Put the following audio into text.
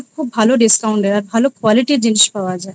খুব ভালো discount এর আর খুব ভালো quality র জিনিস পাওয়া যায়।